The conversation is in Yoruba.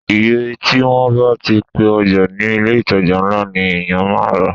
Iye tí wọ́n bá ti pe ọjà ní ilé ìtajà ńlá ni èyàn máa rà á.